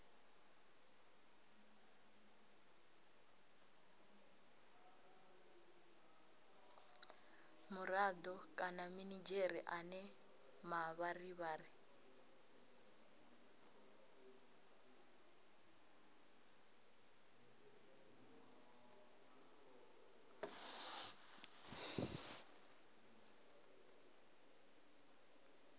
murado kana minidzhere ane mavharivhari